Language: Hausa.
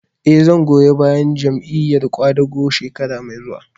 Eh, zan goyi bayan Jam'iyar ƙwadago shekara mai zuwa